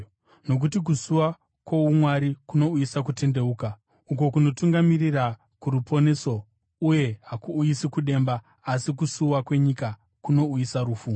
Nokuti kusuwa kwoumwari kunouyisa kutendeuka uko kunotungamirira kuruponeso uye hakuuyisi kudemba, asi kusuwa kwenyika kunouyisa rufu.